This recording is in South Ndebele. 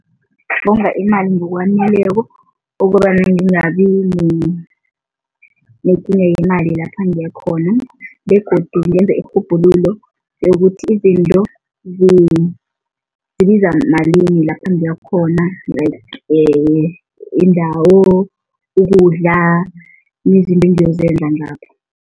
Ngonga imali ngokwaneleko okobana ngingabi nekinga yemali lapha ngiyakhona begodu ngenze irhubhululo yokuthi izinto zibiza malini lapha ngiyakhona like indawo, ukudla, izinto engiyozenza lapho.